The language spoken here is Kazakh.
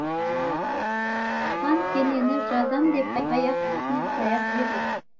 хан кенені жазам деп таяқ үстіне таяқ жедім